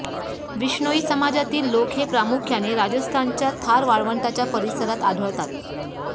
बिश्नोई समाजातील लोक हे प्रामुख्याने राजस्थानच्या थार वाळवंटाच्या परिसरात आढळतात